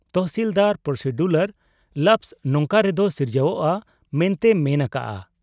ᱛᱚᱦᱥᱤᱞᱫᱟᱨ procedural lapse ᱱᱚᱝᱠᱟ ᱨᱮᱫᱚ ᱥᱤᱨᱡᱟᱹᱣᱜ ᱟ ᱢᱮᱱᱛᱮᱭᱮ ᱢᱮᱱ ᱟᱠᱟᱜ ᱟ ᱾